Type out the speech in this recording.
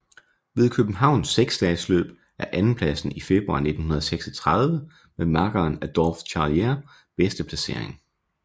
Ved Københavns seksdagesløb er andenpladsen i februar 1936 med makkeren Adolphe Charlier bedste placering